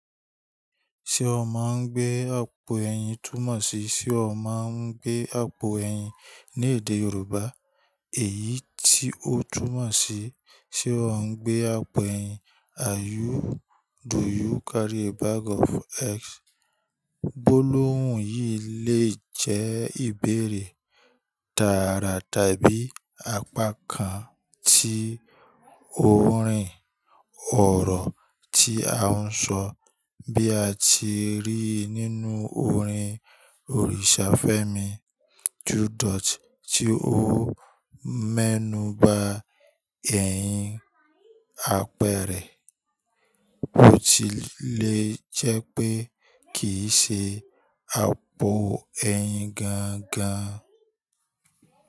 Ṣé o máa ń gbé àpò ẹ̀yìn túmọ̀ sí, ṣe o máa ń gbé àpò ẹ̀yìn ní èdè Yorùbá èyí tí ó túmọ̀ sí ṣe o ń gbé àpò ẹ̀yìn. Do you carry a bag of eggs? Gbo lóhùn yìí le jẹ́ ìbéèrè tààrà tàbí apá kan tí orin ọ̀rọ̀ tí a ń sọ bí a ti ríi nínú orin Orìṣà Fẹ́mi Judot tí ó mọ́nu ba ẹ̀yìn àpẹrẹ kò tilè jẹ́ pé kì í ṣe àpò ẹ̀yìn gangan.